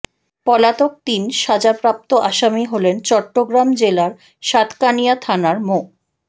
পলাতক তিন সাজাপ্রাপ্ত আসামি হলেন চট্রগ্রাম জেলার সাতকানিয়া থানার মো